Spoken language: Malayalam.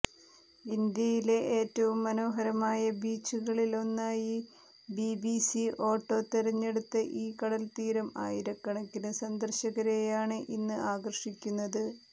ഇന്ത്യയിലെ ഏറ്റവും മനോഹരമായ ബീച്ചുകളിലൊന്നായി ബിബിസി ഓട്ടോ തെരഞ്ഞെടുത്ത ഈ കടൽത്തീരം ആയിരക്കണക്കിന് സന്ദർശകരെയാണ് ഇന്ന് ആകർഷിക്കുന്നത്